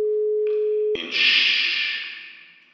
In ššš!